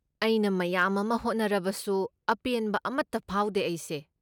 ꯑꯩꯅ ꯃꯌꯥꯝ ꯑꯃ ꯍꯣꯠꯅꯔꯕꯁꯨ, ꯑꯄꯦꯟꯕ ꯑꯃꯠꯇ ꯐꯥꯎꯗꯦ ꯑꯩꯁꯦ꯫